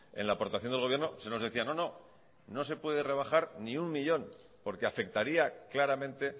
en la aportación del gobierno se nos decía no no no se puede rebajar ni uno millón porque afectaría claramente